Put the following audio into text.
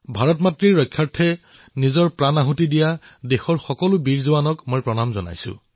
ভাৰত মাতাৰ ৰক্ষাত নিজৰ প্ৰাণ উচৰ্গা কৰা সকলক দেশৰ সকলো বীৰ সুপুত্ৰক মই প্ৰণাম জনাইছো